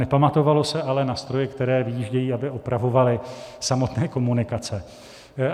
Nepamatovalo se ale na stroje, které vyjíždějí, aby opravovaly samotné komunikace.